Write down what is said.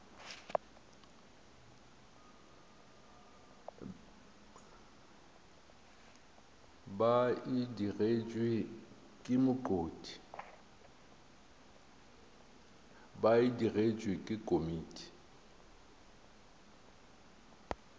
ba e digetšwe ke komiti